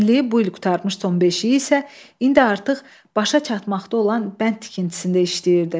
Onu bu il qurtarmış, son beşi isə indi artıq başa çatmaqda olan bənd tikintisində işləyirdi.